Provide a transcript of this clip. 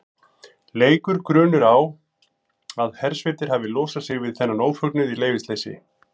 Leikur grunur á að hersveitir hafi losað sig við þennan ófögnuð í leyfisleysi.